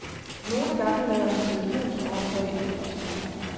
Nogle gange lader han telefonsvareren tage imod besked.